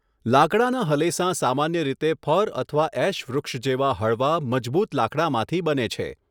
લાકડાનાં હલેસાં સામાન્ય રીતે ફર અથવા ઍશ વૃક્ષ જેવા હળવા, મજબૂત લાકડામાંથી બને છે.